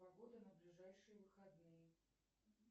погода на ближайшие выходные